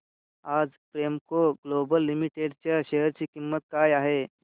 आज Premco global limited च्या share ची किंमत काय आहे